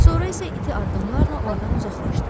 Sonra isə iti addımlarla ordan uzaqlaşdı.